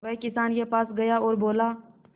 वह किसान के पास गया और बोला